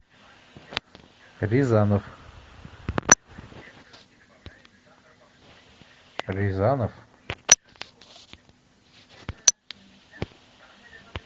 рязанов рязанов